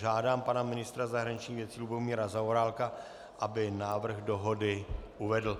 Žádám pana ministra zahraničních věcí Lubomíra Zaorálka, aby návrh dohody uvedl.